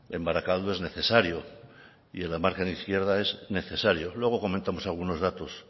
en barakaldo es necesario y en la margen izquierda es necesario luego comentamos algunos datos